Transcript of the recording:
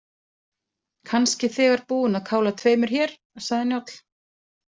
Kannski þegar búinn að kála tveimur hér, sagði Njáll.